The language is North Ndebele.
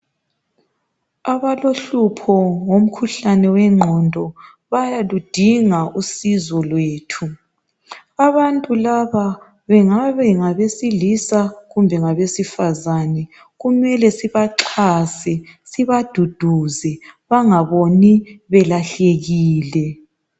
Abalohlupho ngomkhuhlane wengqondo, bayaludinga usizo lwethu. Abantu laba bengabe bengabesilisa, kumbe ngabesifazane, kumele sibaxhase, sibaduduze bengaboni belahlekile.